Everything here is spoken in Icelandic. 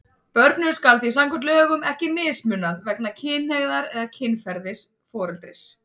Börnum skal því samkvæmt lögum ekki mismunað vegna kynhneigðar eða kynferðis foreldris.